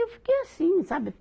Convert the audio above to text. Eu fiquei assim, sabe?